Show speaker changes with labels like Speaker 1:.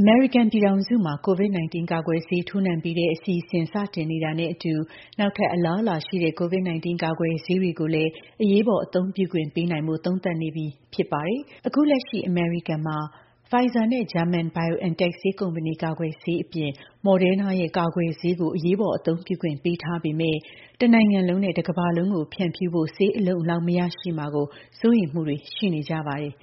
Speaker 1: အမေရိကန်ပြည်ထောင်စုမှာ COVID-19 ကာကွယ်ဆေး ထိုးနှံပေးတဲ့ အစီအစဉ်စတင်နေတာနဲ့ အတူ နောက်ထပ်အလားလာရှိတဲ့ COVID-19 ကာကွယ်ဆေးတွေကိုလည်း အရေးပေါ် အသုံးပြုခွင့်ပေးနိုင်ဖို့ သုံးသပ်နေပြီဖြစ်ပါတယ်။ အခု လက်ရှိ အမေရိကန်မှာ Pfizer နဲ့ ဂျာမန် BioNTech ဆေးကုမ္ပဏီ ကာကွယ်ဆေးအပြင် Moderna ရဲ့ ကာကွယ်ဆေးကို အရေးပေါ် အသုံးပြုခွင့်ပေးထားပေမဲ့ တနိုင်ငံလုံးနဲ့ တကမ္ဘာလုံးကို ဖြန့်ဖြူးဖို့ ဆေးအလုံအလောက်မရရှိမှာကို စိုးရိမ်မှုတွေရှိနေကြပါတယ်